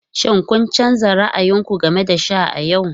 Shin kun canza ra'ayin ku game da sha a yau?